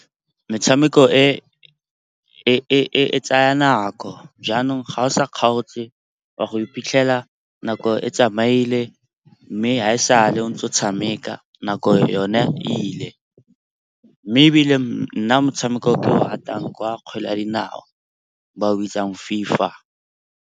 Metshameko e e tsaya nako jaanong ga o sa kgaotse wa go iphitlhela nako e tsamaile, mme ga e sa a le ntse o tshameka nako yone e ile. Mme ebile nna motshameko o ke o ratang kwa kgwele ya dinao, ba o bitsang FIFA.